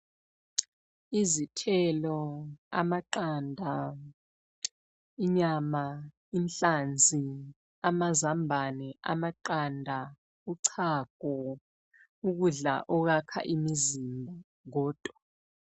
Izithelo, amaqanda, inyama, inhlanzi amazambane, amaqanda, uchago: ukudla okwakha imizimba kodwa.